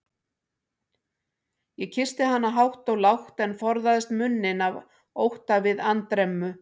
Ég kyssti hana hátt og lágt, en forðaðist munninn af ótta við andremmu.